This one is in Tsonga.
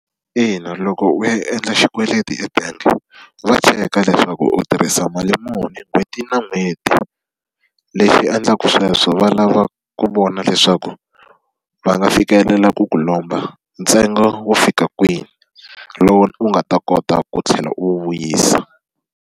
Ina, loko u ya endla xikweleti ebangi, va cheka leswaku u tirhisa mali muni n'hweti na n'hweti. Lexi endlaku sweswo va lava ku vona leswaku va nga fikelela ku ku lomba ntsengo wo fika kwini, lowu u nga ta kota ku tlhela u wu vuyisa.